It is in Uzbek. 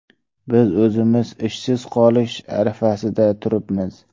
Biz o‘zimiz ishsiz qolish arafasida turibmiz.